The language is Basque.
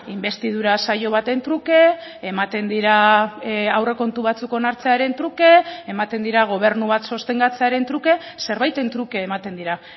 inbestidura saio baten truke ematen dira aurrekontu batzuk onartzearen truke ematen dira gobernu bat sostengatzearen truke zerbaiten truke ematen dira